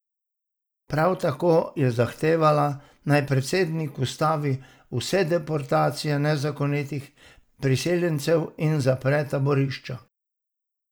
Prav tako je zahtevala, naj predsednik ustavi vse deportacije nezakonitih priseljencev in zapre taborišča.